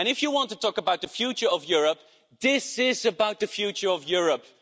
And if you want to talk about the future of Europe, this is about the future of Europe.